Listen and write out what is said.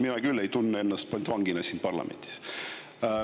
Mina küll ei tunne ennast pantvangina siin parlamendis.